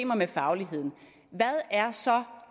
er så